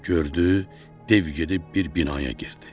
Gördü, dev gedib bir binaya girdi.